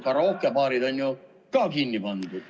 Karaokebaarid on ju ka kinni pandud.